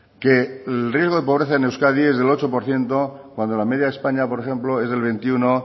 que el riesgo de pobreza en euskadi es del ocho por ciento cuando la media de españa por ejemplo es del veintiuno